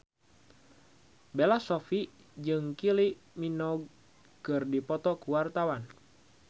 Bella Shofie jeung Kylie Minogue keur dipoto ku wartawan